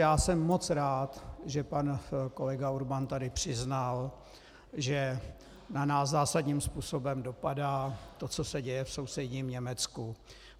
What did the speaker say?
Já jsem moc rád, že pan kolega Urban tady přiznal, že na nás zásadním způsobem dopadá to, co se děje v sousedním Německu.